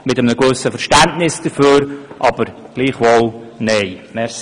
Wir hegen ein gewissen Verständnis dafür, sagen aber gleichwohl nein dazu.